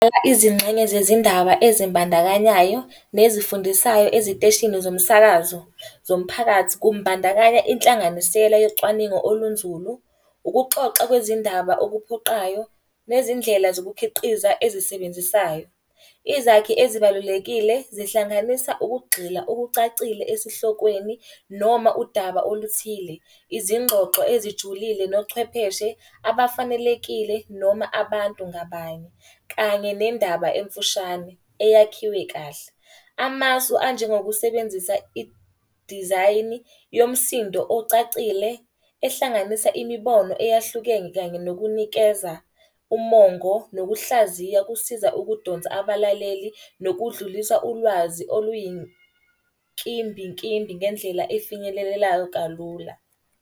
Izingxenye zezindaba ezimbandakanyayo nezifundisayo eziteshini zomsakazo zomphakathi, kumbandakanya inhlanganisela yocwaningo olunzulu, ukuxoxa kwezindaba okuphoqayo nezindlela zokukhiqiza ezisebenzisayo. Izakhi ezibalulekile zihlanganisa ukugxila okucacile esihlokweni noma udaba oluthile. Izingxoxo ezijulile nochwepheshe abafanelekile noma abantu ngabanye, kanye nendaba emfushane, eyakhiwe kahle. Amasu anjengokusebenzisa Idizayini yomsindo ocacile, ehlanganisa imibono eyahlukene kanye nokunikeza umongo nokuhlaziya kusiza ukudonsa abalaleli nokudlulisa ulwazi oluyinkimbinkimbi ngendlela efinyelelelayo kalula.